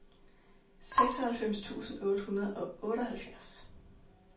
seksoghalvfems tusind otte hundrede og otteoghalvfjerds